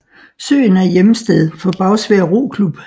Søen er hjemsted for Bagsværd Roklub